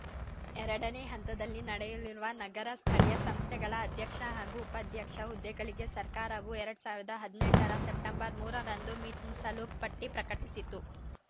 ಎರಡನೇ ಹಂತದಲ್ಲಿ ನಡೆಯಲಿರುವ ನಗರ ಸ್ಥಳೀಯ ಸಂಸ್ಥೆಗಳ ಅಧ್ಯಕ್ಷ ಹಾಗೂ ಉಪಾಧ್ಯಕ್ಷ ಹುದ್ದೆಗಳಿಗೆ ಸರ್ಕಾರವು ಎರಡ್ ಸಾವಿರದ ಹದಿನೆಂಟ ರ ಸೆಪ್ಟೆಂಬರ್ ಮೂರ ರಂದು ಮೀಸಲು ಪಟ್ಟಿಪ್ರಕಟಿಸಿತ್ತು